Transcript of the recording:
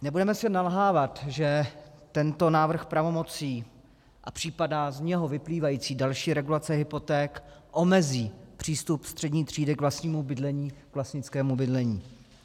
Nebudeme si nalhávat, že tento návrh pravomocí a případná z něho vyplývající další regulace hypoték omezí přístup střední třídy k vlastnímu bydlení, k vlastnickému bydlení.